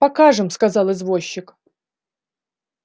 покажем сказал извозчик